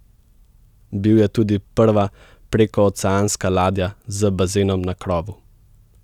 Bil je tudi prva prekooceanska ladja z bazenom na krovu.